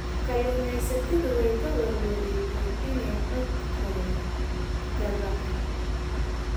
Kalluumaysatadu way ka warwareegayaan inay codkooda daabacaan.